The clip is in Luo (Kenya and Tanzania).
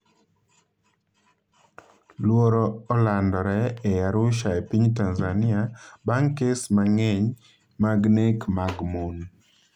Luoro olandore e Arusha e piny Tanzania bang' kes mang'eny mag nek mag mon